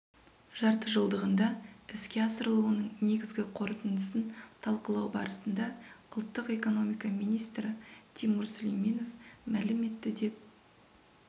жартыжылдығында іске асырылуының негізгі қорытындысын талқылау барысында ұлттық экономика министрі тимур сүлейменов мәлім етті деп